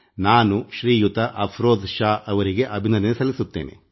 ನಾನು ಶ್ರೀಯುತ ಅಫರೋಜ್ ಶಾ ಅವರಿಗೆ ಅಭಿನಂದನೆ ಸಲ್ಲಿಸುತ್ತೇನೆ